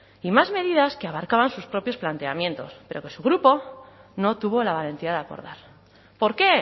y más medidas que abarcaban sus propios planteamientos pero que su grupo no tuvo la valentía de acordar por qué